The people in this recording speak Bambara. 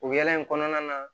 O ya in kɔnɔna na